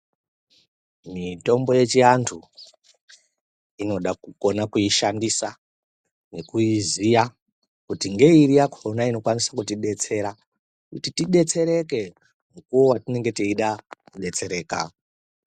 Mitombo yechiantu, inoda kukona kuishandisa, nekuiziya, kuti ngeiri yakhona inokwanise kutidetsera, kuti tidetsereke mukuwo watinenge teida kudetsereka.